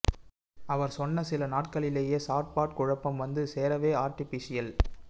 அவர் சொன்ன சில நாட்களிலேயே சாட்பாட் குழப்பம் வந்து சேரவே ஆர்ட்டிபீஷியல்